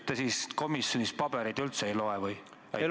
Te siis komisjonis pabereid üldse ei loe või?